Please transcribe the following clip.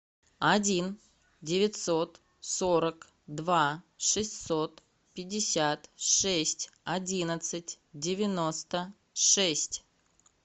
один девятьсот сорок два шестьсот пятьдесят шесть одиннадцать девяносто шесть